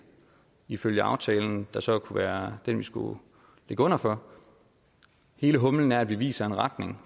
ifølge aftalen der så kunne være den vi skulle ligge under for hele humlen er at vi viser en retning